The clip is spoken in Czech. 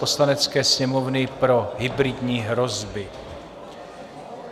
Poslanecké sněmovny pro hybridní hrozby